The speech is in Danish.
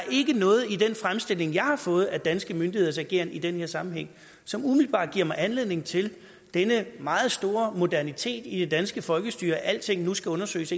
noget i den fremstilling jeg har fået af danske myndigheders ageren i den her sammenhæng som umiddelbart giver mig anledning til denne meget store modernitet i det danske folkestyre at alting nu skal undersøges